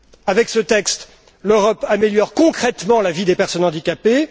Avec ce texte, l'Europe améliore concrètement la vie des personnes handicapées.